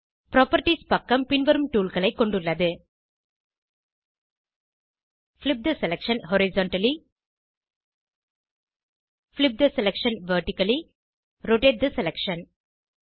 properties பக்கம் பின்வரும் toolகளை கொண்டுள்ளது flip the selection horizontally flip the selection vertically rotate the selection